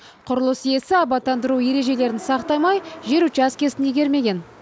құрылыс иесі абаттандыру ережелерін сақтамай жер учаскесін игермеген